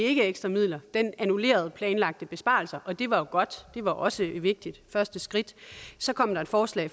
ekstra midler den annullerede planlagte besparelser og det var jo godt det var også et vigtigt første skridt så kom der et forslag